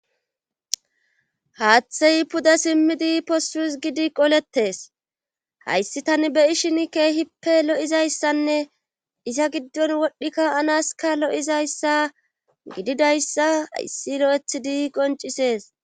Haathey puda simmidi possus gidi qoletes hayssi tani beyi shin keehippe lo7izayssanne iza giddon wodhdhikka anaska lo7izayssa gididayssa yssi lo7eth di qoncisees.